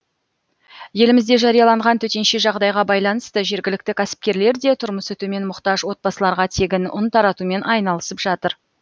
елімізде жарияланған төтенше жағдайға байланысты жергілікті кәсіпкерлер де тұрмысы төмен мұқтаж отбасыларға тегін ұн таратумен айналысып жатыр